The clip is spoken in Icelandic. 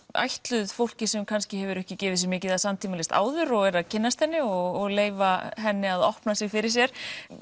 ætluð fólki sem kannski hefur ekki gefið sig mikið að samtímalist áður og er að kynnast henni og leyfa henni að opna sig fyrir sér